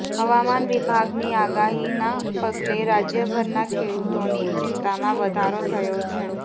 હવામાન વિભાગની આગાહીના પગલે રાજ્યભરના ખેડૂતોની ચિંતામાં વધારો થયો છે